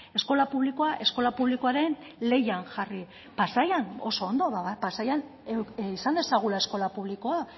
eskola publikoa eskola publikoaren lehian jarri pasaian oso ondo pasaian izan dezagula eskola publikoa